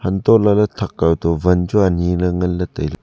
untoh lahley thakkaw to wan chu aniley nganley tailey.